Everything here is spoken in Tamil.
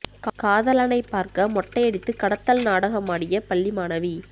காதலனை பார்க்க மொட்டையடித்து கடத்தல் நாடகமாடிய பள்ளி மாணவி